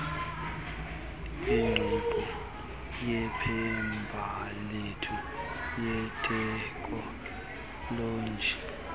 ingqiqo yempembelelo yeteknoloji